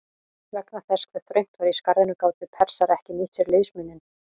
Vegna þess hve þröngt var í skarðinu gátu Persar ekki nýtt sér liðsmuninn.